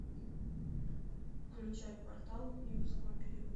включай портал юрского периода